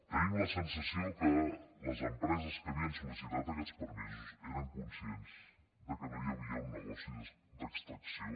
tenim la sensació que les empreses que havien sol·permisos eren conscients que no hi havia un negoci d’extracció